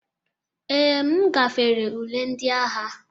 Ee, m gafere ule ndị agha.